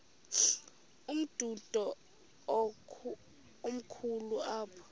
umdudo komkhulu apha